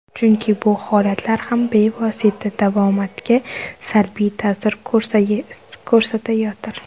Chunki bu holatlar ham bevosita davomatga salbiy ta’sir ko‘rsatayotir.